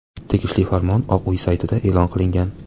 Tegishli farmon Oq uy saytida e’lon qilingan.